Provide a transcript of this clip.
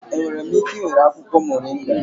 Enwere m ike ị were akwụkwọ moringa?